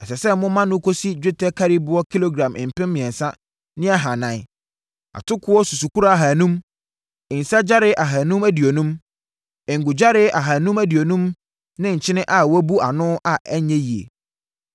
Ɛsɛ sɛ moma no kɔsi dwetɛ nkariboɔ kilogram mpem mmiɛnsa ne ahanan, atokoɔ susukora ahanum, nsã gyare ahanum aduonum, ngo gyare ahanum aduonum ne nkyene a wɔbu ano a ɛnyɛ yie.